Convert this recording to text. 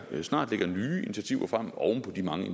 vi snart lægger nye initiativer frem oven på de mange